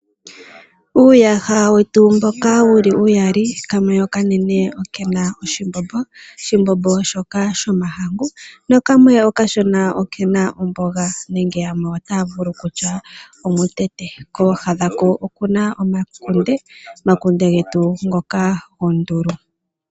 Uuyaha wetu mboka wu li uyali, kamwe hoka okanene oke na oshimbombo. Oshimbombo shoka shomahangu nakamwe okashona oke na omboga nenge yamwe otaa vulu okutya omutete. Kooha dhako oku na omakunde, omakunde getu ngoka gondulu.